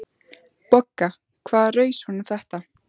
BOGGA: Hvaða raus var nú þetta?